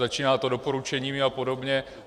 Začíná to doporučeními a podobně.